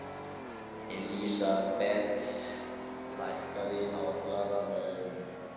Elísabeth, lækkaðu í hátalaranum.